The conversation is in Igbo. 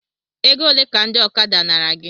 Egole ka ndị ọkada nara gị?